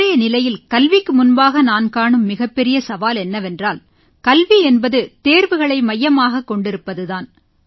இன்றைய நிலையில் கல்விக்கு முன்பாக நான் காணும் மிகப் பெரிய சவால் என்னவென்றால் கல்வி என்பது தேர்வுகளை மையமாகக் கொண்டிருப்பது தான்